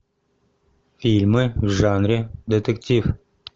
фильмы в жанре детектив